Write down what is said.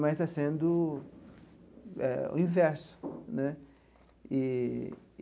mas está sendo eh o inverso né eee.